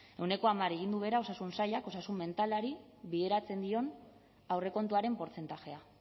e ehuneko hamar egin du behera osasun sailak osasun mentalari bideratzen dion aurrekontuaren portzentajea